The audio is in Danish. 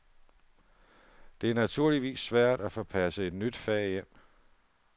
Det er naturligvis svært at få passet et nyt fag ind.